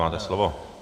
Máte slovo.